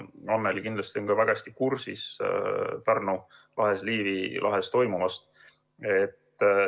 Annely kindlasti on ka väga hästi kursis Pärnu lahes, Liivi lahes toimuvaga.